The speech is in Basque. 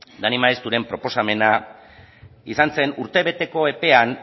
dani maezturen proposamena izan zen urtebeteko epean